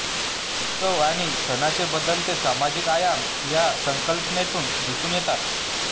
उत्सव आणि सणाचे बदलते सामाजिक आयाम या संकल्पनेतून दिसून येतात